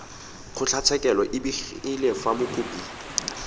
kgotlatshekelo e begile fa mokopi